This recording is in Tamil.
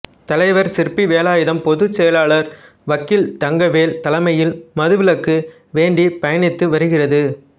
தலைவர் சிற்பி வேலாயுதம் பொதுச்செயலாளர் வக்கீல் தங்கவேல் தலைமைையில் மதுவிலக்கு வேண்டி பயணித்து வருகிறது